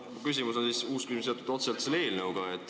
Minu uus küsimus on seotud otseselt selle eelnõuga.